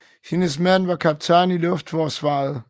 Hendes mand var kaptajn i luftforsvaret